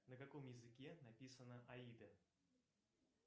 на каком языке написана аида